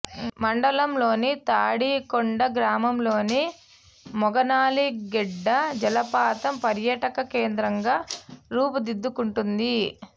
మండలంలోని తాడికొండ గ్రామంలోని మొగనాళి గెడ్డ జలపాతం పర్యాటక కేంద్రంగా రూపుదిద్దుకుంటోంది